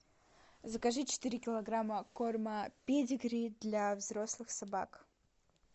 закажи четыре килограмма корма педигри для взрослых собак